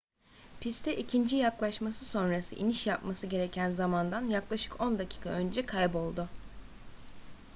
piste ikinci yaklaşması sonrası iniş yapması gereken zamandan yaklaşık on dakika önce kayboldu